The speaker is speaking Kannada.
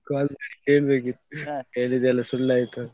Call ಮಾಡಿ ಕೇಳ್ಬೇಕಿತ್ತು ಹೇಳಿದೆಲ್ಲ ಸುಳ್ಳಾಯ್ತು ಅಂತ.